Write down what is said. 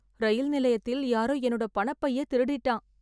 இரயில் நிலையத்தில் யாரோ என்னோட பணப்பைய திருடிட்டான்